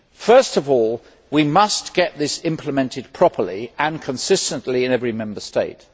First of all, we must get this implemented properly and consistently in every Member State